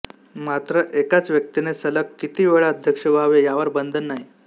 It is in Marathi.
मात्र एकाच व्यक्तीने सलग किती वेळा अध्यक्ष व्हावे यावर बंधन नाही